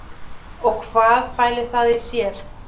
Og hvað fæli það í sér?